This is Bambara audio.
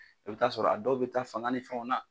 I bɛ t'a sɔrɔ a dɔw bɛ taa fanga ni fɛn na.